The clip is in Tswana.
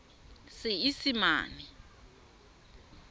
seesimane